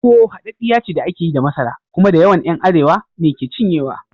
Tuwo haddiya ce da ake yi da masara, kuma dayawan ’yan Arewa ne ke cinyewa.